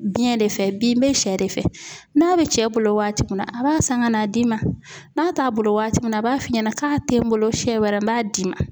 Biyɛn de fɛ bin n bɛ sɛ de fɛ, n'a bɛ cɛ bolo waati min na, a b'a san ka n'a d'i ma ,n'a t'a bolo waati min na a b'a f'i ɲɛna k'a tɛ n bolo, siɲɛ wɛrɛ n b'a d'i ma.